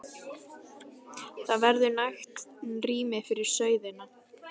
Það verður nægt rými fyrir sauðina.